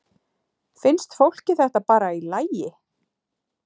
Finnst fólki þetta bara í lagi?